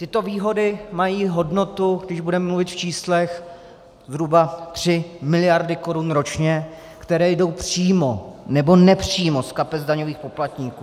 Tyto výhody mají hodnotu, když budeme mluvit v číslech, zhruba tři miliardy korun ročně, které jdou přímo nebo nepřímo z kapes daňových poplatníků.